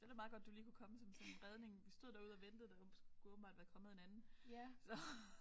Det er da meget godt du lige kunne komme som sådan en redning vi stod derude og ventede der skulle åbenbart være kommet en anden så